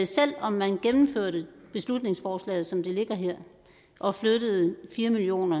selv om man gennemførte beslutningsforslaget som det ligger her og flyttede fire million